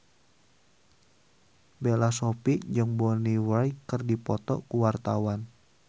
Bella Shofie jeung Bonnie Wright keur dipoto ku wartawan